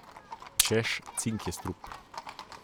Češ, cink je strup.